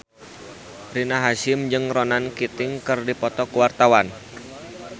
Rina Hasyim jeung Ronan Keating keur dipoto ku wartawan